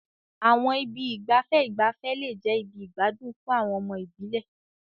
Àwọn ibi ìgbafẹ́ ìgbafẹ́ lè jẹ́ ibi ìgbádùn fún àwọn ọmọ ìbílẹ̀.